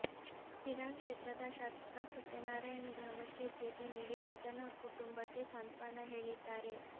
ಶಿರಾ ಕ್ಷೇತ್ರದ ಶಾಸಕ ಸತ್ಯನಾರಾಯಣ್ ಗ್ರಾಮಕ್ಕೆ ಭೇಟಿಟಿ ನೀಡಿ ಮೃತ ನ ಕುಟುಂಬಕ್ಕೆ ಸಾಂತ್ವನ ಹೇಳಿದ್ದಾರೆ